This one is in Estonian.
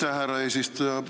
Aitäh, härra eesistuja!